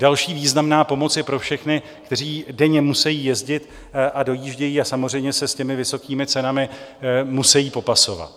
Další významná pomoc je pro všechny, kteří denně musejí jezdit a dojíždějí a samozřejmě se s těmi vysokými cenami musejí popasovat.